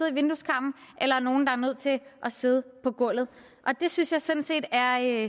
i vindueskarmen eller nogle der er nødt til at sidde på gulvet det synes jeg sådan set er